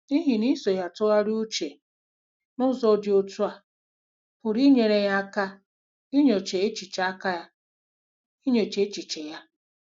N'ihi na iso ya tụgharịa uche n'ụzọ dị otú a pụrụ inyere ya aka inyocha echiche aka inyocha echiche ya.